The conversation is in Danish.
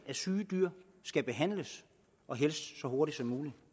at syge dyr skal behandles og helst så hurtigt